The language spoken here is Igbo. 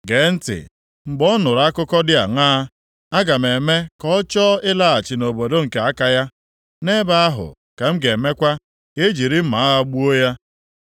Gee ntị, mgbe ọ nụrụ akụkọ dị aṅaa, aga m eme ka ọ chọọ ịlaghachi nʼobodo nke aka ya. Nʼebe ahụ ka m ga-emekwa ka e jiri mma agha gbuo ya.’ ”